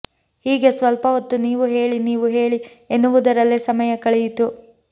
ಹೀಗೆ ಸ್ವಲ್ಪ ಹೊತ್ತು ನೀವು ಹೇಳಿ ನೀವು ಹೇಳಿ ಎನ್ನುವುದರಲ್ಲೇ ಸಮಯ ಕಳೆಯಿತು